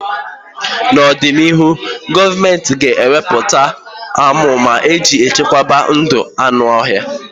N'ọdịnịhụ, gọọmentị ga-eweputa amụma iji chekwaba ndụ anụ ọhịa.